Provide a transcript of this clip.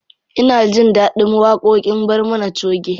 Ina jin ɗaɗin waƙoƙin barmana choge.